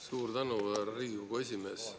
Suur tänu, härra Riigikogu esimees!